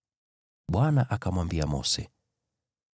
Bwana akamwambia Mose: